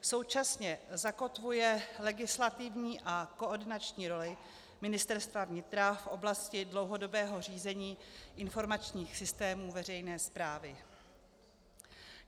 Současně zakotvuje legislativní a koordinační roli Ministerstva vnitra v oblasti dlouhodobého řízení informačních systémů veřejné správy.